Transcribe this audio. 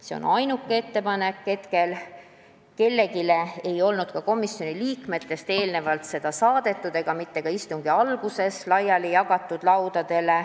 Kellelegi komisjoni liikmetest ei olnud muud ettepanekut eelnevalt saadetud ega ka mitte istungi alguses laudadele laiali jagatud.